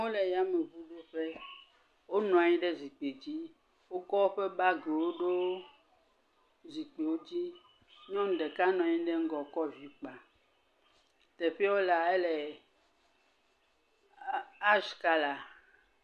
Amewo le yameŋudzeƒe. Wonɔ anyi ɖe zikpidzi. Wokɔ woƒe baagiwo ɖo zikpiwo dzi. Nyɔnu ɖeka nɔanyi ɖe ŋgɔ kɔ vi kpa. Teƒeɛ wolea, ele ashi kalaa.